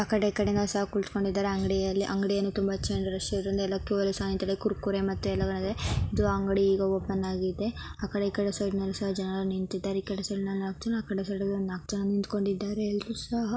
ಆಕಡೆ ಈಕಡೆ ಸಹ ಕುಳಿತ್ಕೊಂಡಿದರೆ ಅಂಗಡಿಯಲ್ಲಿ ಅಂಗಡಿಯಲ್ಲಿ ತುಂಬಾ ರಶ್ ಇರುವದರಿಂದ ಎಲ್ಲ ಕ್ಯೂ ಸಹ ನಿಂತಿದಾರೆ ಕುರ್ಕುರೆ ಮತ್ತೆ ಎಲ್ಲಾ ಇದು ಅಂಗಡಿ ಈಗ ಓಪನ್ ಆಗಿದೆ ಆ ಕಡೆ ಈ ಕಡೆ ಸೈಡ್ ನಾಲ್ಕ ಜನ ನಿಂತಿದ್ದಾರೆ ಈ ಕಡೆ ಸೈಡ್ ನಾಲ್ಕ ಜನ ಆ ಕಡೆ ಸೈಡ್ ಒಂದ ನಾಲ್ಕ ಜನ ನಿಂತಕೊಂಡಿದ್ದಾರೆ ಎಲ್ಲ್ರು ಸಹ --